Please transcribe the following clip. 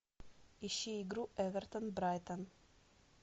ищи игру эвертон брайтон